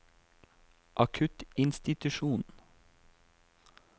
akuttinstitusjonen